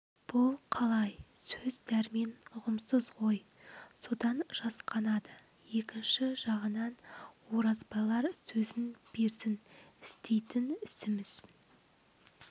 бұл қалай сөз дәрмен ұғымсыз ғой содан жасқанады екінші жағынан оразбайлар сөзін берсін істейтін ісіміз